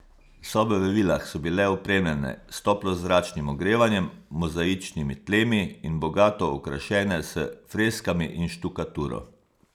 Sobe v vilah so bile opremljene s toplozračnim ogrevanjem, mozaičnimi tlemi in bogato okrašene s freskami in štukaturo.